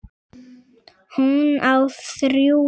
Hún á þrjú börn.